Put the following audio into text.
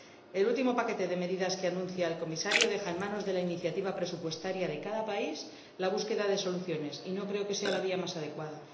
El último paquete de medidas que anuncia el Comisario deja en manos de la iniciativa presupuestaria de cada país la búsqueda de soluciones, y no creo que esta sea la vía más adecuada.